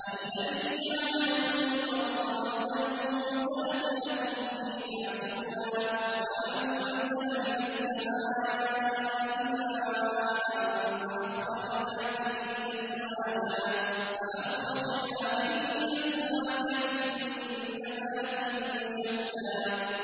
الَّذِي جَعَلَ لَكُمُ الْأَرْضَ مَهْدًا وَسَلَكَ لَكُمْ فِيهَا سُبُلًا وَأَنزَلَ مِنَ السَّمَاءِ مَاءً فَأَخْرَجْنَا بِهِ أَزْوَاجًا مِّن نَّبَاتٍ شَتَّىٰ